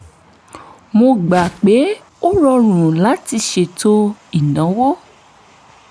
mo gbà pé ó rọrùn láti ṣètò ìnáwó